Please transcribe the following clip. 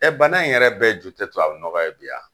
bana in yɛrɛ bɛɛ ju tɛ tubabu nɔgɔ ye bi yan.